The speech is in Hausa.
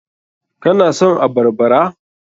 Ka na son abarbara?